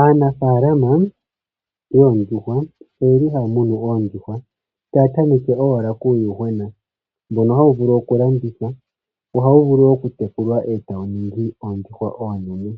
Aanafalama yoondjuhwa oye li haya munu oondjuhwa taya tameke owala kuuyuhwena mbono hawu vulu okulandithwa. Ohawu vulu wo okutekulwa e tawu ningi oondjuhwa oonene.